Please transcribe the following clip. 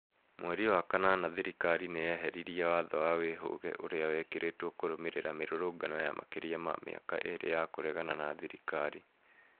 Mweri wa kanana thĩrĩkarĩ nĩyeheririe watho wa wĩhũge ũrĩa wekĩrĩtwo kũrũmĩrĩra mĩrũrũngano ya makĩria ma mĩaka ĩrĩ ya kũregana na thĩrĩkarĩ